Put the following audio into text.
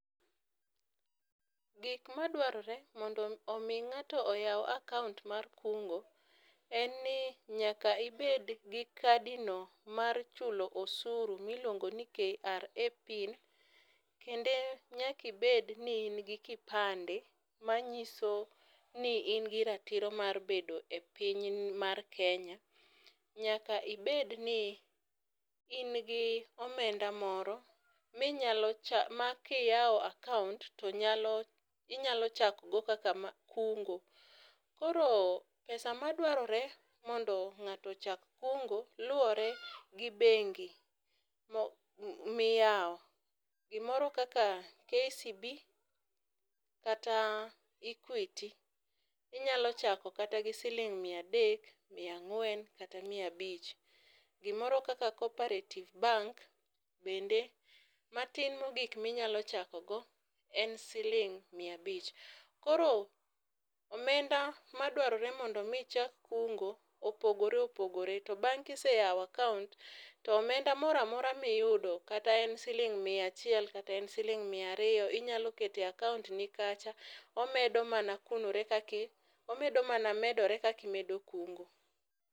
Gik madwarore mondo mi ng'ato oway akaunt mar kungo en ni nyaka ibed gi kadi no mar chulo osuru miluongo ni KRA pin kendo, nyaki bed ni in gi kipande ,manyiso ni in gi ratiro mar bedo e piny ni mar Kenya. Nyaka ibed ni in gi omenda moro minyalo cha makiyawo akaunt to nyalo inyalo chako go kaka ma kungo koro pesa madwarore mondo ng'ato ochak kungo luwore gi bengi mi miyawo .Gimoro kaka KCB kata Equity inyalo chako gi siling mia adek , mia ang'wen kata mia abich. Gimoro kaka coperative bank bende matin mogik minyalo chako go en siling mia abich. Koro omenda madwarore mondo mi ichak kungo opogore opogore .To bang' kiseyawo akaunt to omeda moramora miyudo kata en siling mia achiel, kata en siling mia ariyo inyalo kete e akaunt ni kacha omedo mana kunore omedo mana medore kaki medo kungo.